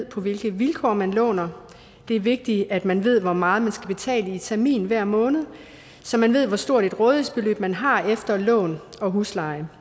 på hvilke vilkår man låner det er vigtigt at man ved hvor meget man skal betale i termin hver måned så man ved hvor stort et rådighedsbeløb man har efter at lån og husleje